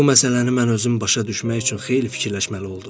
Bu məsələni mən özüm başa düşmək üçün xeyli fikirləşməli oldum.